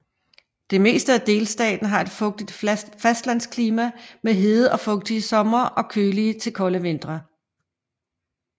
Det meste af delstaten har et fugtigt fastlandsklima med hede og fugtige somre og kølige til kolde vintre